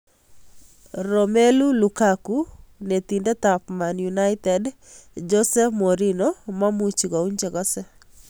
Romelu Lukaku: Netindet ab Man Utd Jose Mourinho mamuchi kouny chekose.